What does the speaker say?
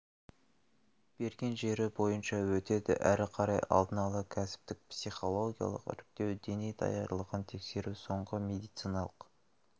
берген жері бойынша өтеді әрі қарай алдын ала кәсіптік-психологиялық іріктеу дене даярлығын тексеру соңғы медициналық